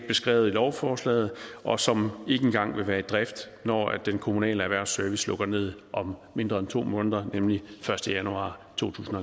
beskrevet i lovforslaget og som ikke engang vil være i drift når den kommunale erhvervsservice lukker ned om mindre end to måneder nemlig den første januar to tusind